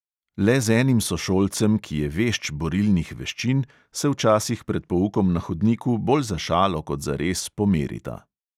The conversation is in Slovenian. Le z enim sošolcem, ki je vešč borilnih veščin, se včasih pred poukom na hodniku bolj za šalo kot zares pomerita.